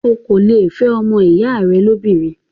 o kò le è fẹ́ ọmọ ìyá rẹ lóbìnrin.